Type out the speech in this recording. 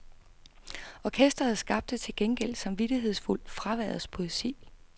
Orkestret skabte til gengæld samvittighedsfuldt fraværets poesi.